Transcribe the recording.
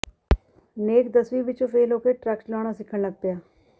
ਨੇਕ ਦਸਵੀਂ ਵਿੱਚੋਂ ਫੇਲ੍ਹ ਹੋ ਕੇ ਟਰੱਕ ਚਲਾਉਣਾ ਸਿੱਖਣ ਲੱਗ ਪਿਆ